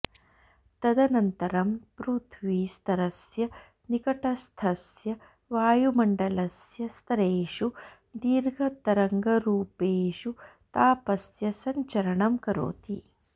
तदनन्तरं पृथ्वी स्तरस्य निकटस्थस्य वायुमण्डलस्य स्तरेषु दीर्घतरङ्गरूपेषु तापस्य सञ्चरणं करोति